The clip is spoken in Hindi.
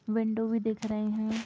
विंडो भी दिख रहे है ।